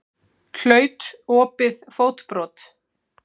Hlaut opið fótbrot